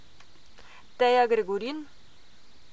Teja Gregorin?